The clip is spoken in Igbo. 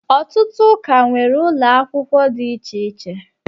ọtụtụ ụka nwere ụlọ akwụkwọ dị iche iche